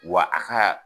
Wa a ka